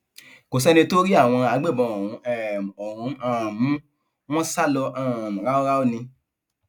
kò sẹni tó rí àwọn agbébọn ọhún um ọhún um mú wọn sá lọ um ráúráú ni